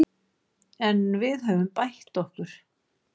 En við höfum bætt okkur